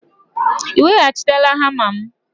Ị weghachitela hama m?